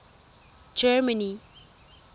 germany